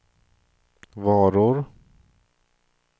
varor